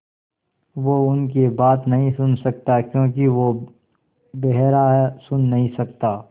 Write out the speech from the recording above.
वो उनकी बात नहीं सुन सकता क्योंकि वो बेहरा है सुन नहीं सकता